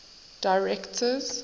directors